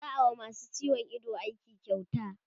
za'a wa masu ciwon Ido aiki kyauta